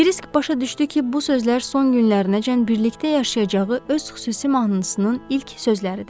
Kiris başa düşdü ki, bu sözlər son günlərinəcən birlikdə yaşayacağı öz xüsusi mahnısının ilk sözləridir.